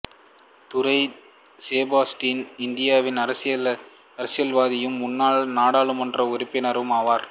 துரை செபாஸ்டியன் இந்திய அரசியல்வாதியும் முன்னாள் நாடாளுமன்ற உறுப்பினரும் ஆவார்